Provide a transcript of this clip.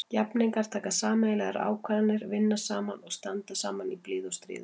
Jafningjar taka sameiginlegar ákvarðanir, vinna saman og standa saman í blíðu og stríðu.